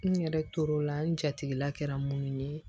N yɛrɛ tor'o la n jatigɛla kɛra mun ye